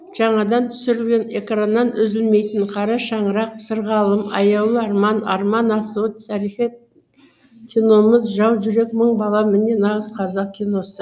жаңадан түсірілген экраннан үзілмейтін қара шаңырақ сырғалым аяулы арман арман асуы тарихи киномыз жау жүрек мың бала міне нағыз қазақ киносы